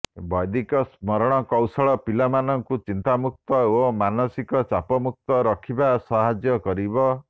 ବୈଦିକ ସ୍ମରଣ କୌଶଳ ପିଲାମାନଙ୍କୁ ଚିନ୍ତାମୁକ୍ତ ଓ ମାନସିକ ଚାପମୁକ୍ତ ରଖିବା ସାହାଯ୍ୟ କରିବ